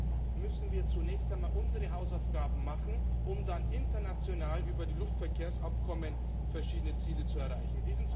intern müssen wir zunächst einmal unsere Hausaufgaben machen, um dann international über die Luftverkehrsabkommen verschiedene Ziele zu erreichen.